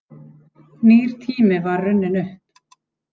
Nýr tími var runninn upp.